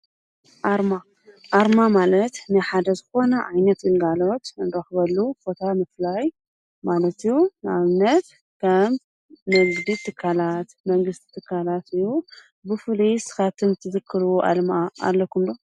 ኣርማ፦ ኣርማ ማለት ናይ ሓደ ዝኾነ ዓይነት ግልጋሎት ንረኽበሉ ቦታ ምፍላይ ማለት እዩ፡፡ ንኣብነት ከም ንግዲ ትካላት፣ መንግስቲ ትካላት እዩ፡፡ ብፍሉይ ንስኹም ትዝክርዎ ኣርማ ኣለኩም ዶ?